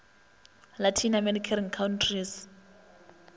latin american countries